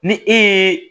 Ni e ye